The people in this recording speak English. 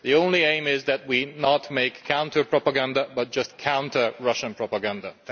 The only aim is that we do not make counter propaganda but just counter Russian propaganda.